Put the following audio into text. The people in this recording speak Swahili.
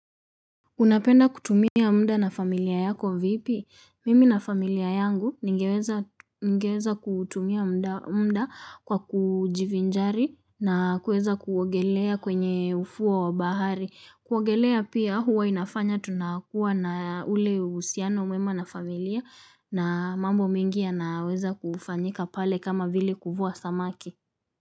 Unapenda kutumia muda na familia yako vipi? Mimi na familia yangu ningeweza kutumia mda kwa kujivinjari na kuueza kuogelea kwenye ufuo wa bahari. Kuogelea pia huwa inafanya tunakuwa na ule usiano mwema na familia na mambo mengi yanaweza kufanyika pale kama vile kuvua samaki.